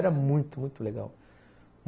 Era muito, muito muito legal.